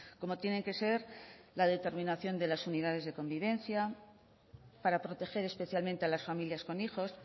como tienen que ser la determinación de las unidades de convivencia para proteger especialmente a las familias con hijos